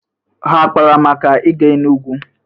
Ha akpara maka ịga Enugu?